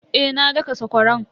Eh na daka sakwaran.